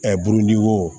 burudi wo